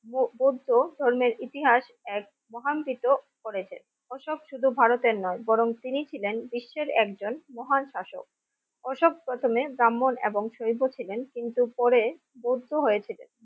বো বৌদ্ধ ধর্মের ইতিহাস এক মহাঙ্কিত করেছেন অশোক শুধু ভারতের নয় বরং তিনি ছিলেন বিশ্বের একজন মহান শাসক অশোক প্রথমে ব্রাহ্মণ এবং শৈব ছিলেন কিন্তুপরে বৌদ্ধ হয়েছিলেন